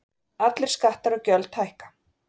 Allir skattar og gjöld hækka